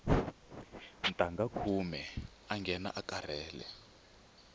ntangha khume awu nghena u karhala